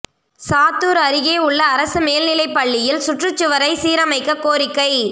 சாத்தூா் அருகே உள்ள அரசு மேல்நிலைப் பள்ளியில் சுற்றுச்சுவரை சீரமைக்கக் கோரிக்கை